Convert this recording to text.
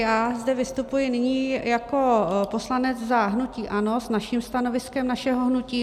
Já zde vystupuji nyní jako poslanec za hnutí ANO s naším stanoviskem našeho hnutí.